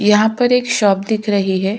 यहाँ पर एक शॉप दिख रही है।